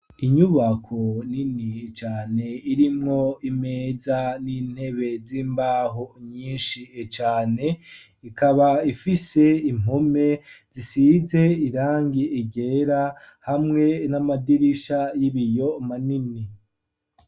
Inyubako nini cane irimwo imeza n'intebe z'imbaho nyinshi cane ikaba ifise impome zisize irangi ryera hamwe n'amadirisha y'ibiyo manini.